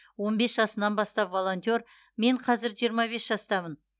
он бес жасынан бастап волонтер мен қазір жиырма бес жастамын